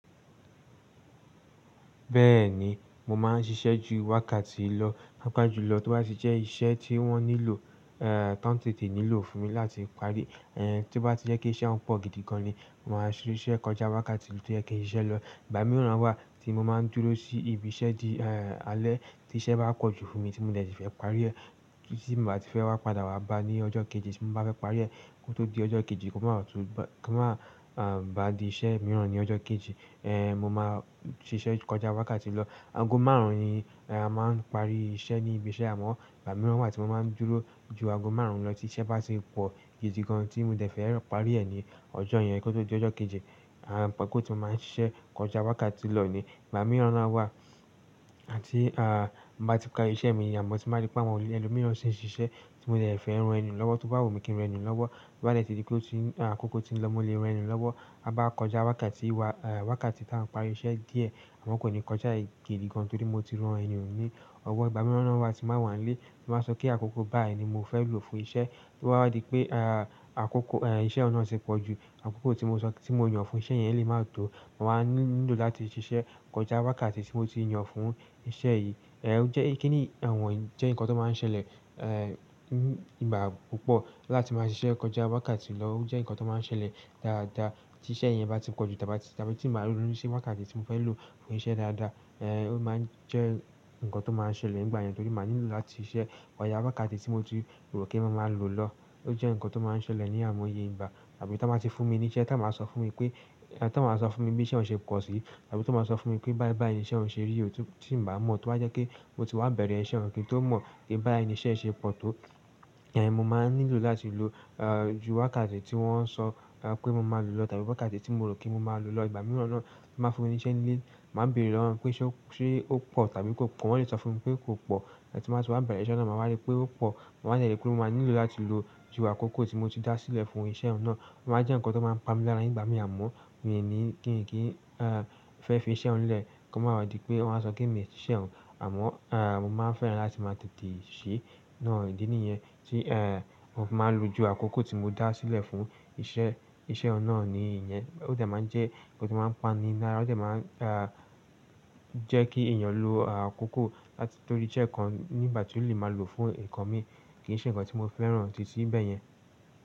Bẹ́ẹ̀ni, mo máa ń ṣiṣẹ́ jù wákàtì lọ, pàpá jùlọ tó bá ti jẹ́ iṣẹ́ tí wọ́n nílò, eh, tán tètè nílò fún mi láti parí, é, tí bá ti jẹ́ pé iṣẹ́ wọn pọ̀ gidi gan ní, mo máa ṣiṣẹ́ kọjá wákàtì tó jẹ́ kí n ṣiṣẹ́ lọ. Ìgbà mìíràn wá ti mo máa ń dúró sí ibi iṣẹ́ dí, é, alẹ́ tí iṣẹ́ bá pọ̀ jù fún mi tí mo dẹ̀ sì fẹ́ parí ẹ̀, tí mo bá ti fẹ́ wá padà wàá bà á ní ọjọ́ kéjì tí mo bá fẹ́ parí ẹ̀, kó tó di ọjọ́ kéjì, kò má rò tó, kò máa bà á di iṣẹ́ mìíràn ní ọjọ́ kéjì, é, mo máa ṣiṣẹ́ kọjá wákàtì lọ. Ago márùn-ún ni, ẹ̀, a máa ń parí iṣẹ́ ní ibi iṣẹ́ amọ́, ìgbà mìíràn wá ti mo máa ń dúró jù ago márùn-ún lọ tí iṣẹ́ bá ti pọ̀ gidi gan tí mo de fẹ́ rọ parí ẹ̀ ní ọjọ́ yẹn kó tó di ọjọ́ kéjì, àá, kó ti mo máa ń ṣiṣẹ́ kọjá wákàtì lọ ni. Ìgbà mìíràn náà wá, à tí, á, m bá ti parí iṣẹ́ mi amọ́ ti mo bá ti rí pé àwọn ẹlo mìíràn ń ṣe iṣẹ́ tí mo dẹ̀ fẹ́ ran ni lọ́wọ́ tó bá wu mí kí ń ran ení lọ́wọ́, tó bá dẹ̀ ti di pé ó ti ń, ákókó ti ń lọ mo lé rán ẹni hun lọ́wọ́, á bá á kọjá wákàtì wá, ẹ̀, wákàtì tí á ń parí iṣẹ́ díẹ̀, àmọ́ kò ní kọjà ì gidi gan torí mo ti ran ẹnì hun ni ọ́wọ́. Ìgbà mìíràn náà wá ti má wà nílé, tí báa sọ kí àkókó báyìí ni mo fẹ́ lò fún iṣẹ́, tó bá wa di pé, á, àkókó, ẹ̀, iṣẹ́ òun náà ti pọ̀ jù, àkókó tí mo sọ tí mo yàn fún iṣẹ́ yẹn lè má tò, mo wá nílò láti ṣiṣẹ́ kọjá wákàtì tí mo ti yan fún iṣẹ́ yìí. Ẹ̀, ó jẹ́ kínì ì, ìwọ̀n jẹ́ nǹkan tó máa ń ṣẹlẹ̀, ẹ̀, nígbà púpọ̀. Láti máa ṣiṣẹ́ kọjá wákàtì lọ ó jẹ́ nǹkan tó máa ń ṣẹlẹ̀ dáadáa. Ti iṣẹ́ yẹn bá ti pọ̀ jù tàbí, tàbí tí mo máa róonu ṣi wákàtì tí mo fẹ́ lò fún iṣẹ́ dáadáa, ẹ̀, ó máa ń jẹ́ nǹkan tó máa ń ṣẹlẹ̀ nígbà yẹn torí mo máa nílò láti iṣẹ́ kọjá wákàtì tí mo ti rò kí mo máa lò ọ́. Ó jẹ́ nǹkan tó máa ń ṣẹlẹ̀ ní a'imoye ìgbá. Tàbí t'on ba ti fún mi ní iṣẹ́, t'on báa sọ fún mi pé, t'ọ́n báa sọ fún mi bí iṣẹ́ ń ṣe pọ̀ sí, tàbí t'ọ́n báa sọ fún mi pé báyìí báyìí ni iṣẹ́ ouń ṣe rí, ò tin, tí ǹ bá mọ̀, tó bá jẹ́ kí mo ti wá bẹ̀rẹ̀ iṣẹ́, ǹ kí ń tó mọ̀ kí báyìí ni iṣẹ́ ń ṣe pọ̀ tó, ẹ̀, mo máa nílò láti lò, á, ju wákàtì tí wọ́n so, ehn, pé mo máa lòò, pẹ̀lú wákàtí ti mo pé mo máa lòò ló ń sọ, á, pé mo máa lò lọ tàbí wákàtì tí mo rò kí mo máa lò lọ. Ìgbà mìíràn na.